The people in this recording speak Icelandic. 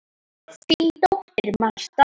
Þín dóttir, Marta.